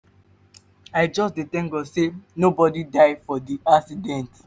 i just dey tank god sey nobodi die for di accident.